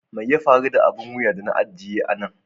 Mai ya faru da abin wuya da na ajiye a nan?